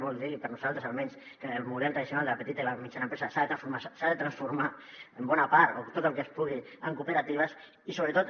vol dir per nosaltres almenys que el model tradicional de la petita i mitjana empresa s’ha de transformar en bona part o tot el que es pugui en cooperatives i sobretot